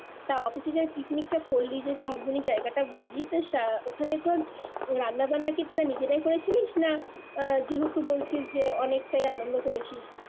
তাও অফিসে যে পিকনিক টা করলি যে জায়গাটা বললি ওখানে তোর রান্নাবান্না কি তোরা নিজেরাই করিছিলিস না আহ যেহেতু বলছিস যে অনেকটাই আনন্দ করেছিস